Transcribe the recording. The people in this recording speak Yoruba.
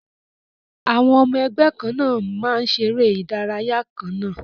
Àwọn ọmọ ẹgbẹ́ kan náà máa ń ṣeré ìdárayá kan náà